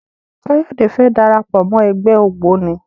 Kayode fè dára pọ Mọ ègbé ògbóni.